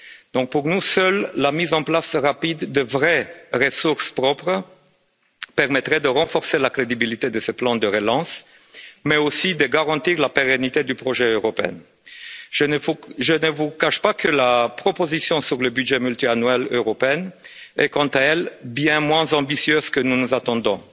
Donc, pour nous, seule la mise en place rapide de vraies ressources propres permettrait de renforcer la crédibilité de ce plan de relance, mais aussi de garantir la pérennité du projet européen. Je ne vous cache pas que la proposition sur le budget pluriannuel européen est quant à elle bien moins ambitieuse que ce que nous attendions